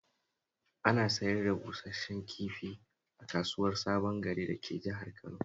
Ana sayar da busash-shen kifi a kasuwar Sabon Gari dake Jihar Kano